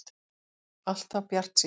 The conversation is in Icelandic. Alltaf bjartsýnn!